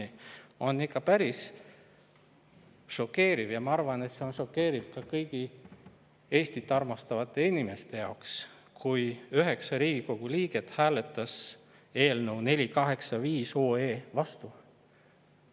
Minu jaoks on ikka päris šokeeriv – ja ma arvan, et see on šokeeriv kõigi Eestit armastavate inimeste jaoks –, et üheksa parlamendiliiget hääletas eelnõu 485 vastu.